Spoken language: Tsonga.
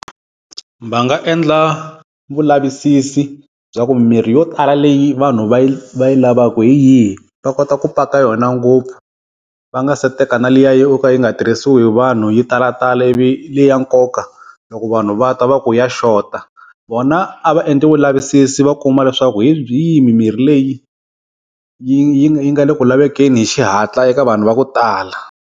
Va nga endla vulavisisi bya ku mimirhi yo tala leyi vanhu va yi va yi lavaku hi yihi, va kota ku paka yona ngopfu, va nga se teka na liya yo ka yi nga tirhisiwa hi vanhu yi talatala ivi leyi ya nkoka loko vanhu va ta va ku ya xota. Vona a va endli vulavisisi va kuma leswaku hi yihi mimirhi leyi yi yi yi nga le ku lavekeni hi xihatla eka vanhu va ku tala.